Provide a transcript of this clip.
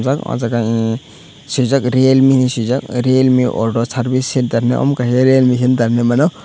ahh jaage e swijak realmi henai swijak realmi order service center henei omo kaisa realme center henemano.